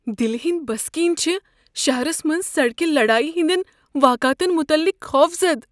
دِلِہ ہنٛدۍ بسکین چھ شہرس منٛز سڑکہِ لڈایہِ ہندین واقعاتن متعلق خوفزدٕ ۔